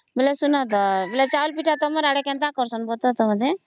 ବେଲେ ସୁନ ତା ବେଲେ ଚାଉଳ ପିଠା ତମର ଆଡେ କେମତା କରିଛନ